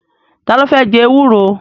Ta ló fẹ́ jẹ ewúro?